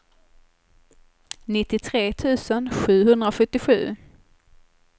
nittiotre tusen sjuhundrasjuttiosju